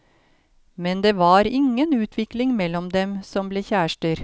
Men det var ingen utvikling mellom dem som ble kjærester.